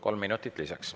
Kolm minutit lisaks.